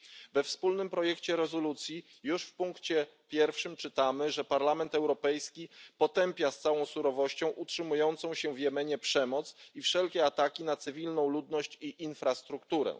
We wspólnym projekcie rezolucji już w ustępie 1 czytamy, że Parlament Europejski potępia z całą surowością utrzymującą się w Jemenie przemoc i wszelkie ataki na cywilną ludność i infrastrukturę.